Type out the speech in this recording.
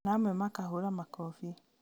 na amwe makahũra makobi